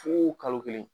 Fu kalo kelen